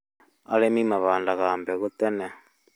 Arĩmi mahandaga mbegũ tene